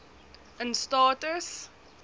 in staat is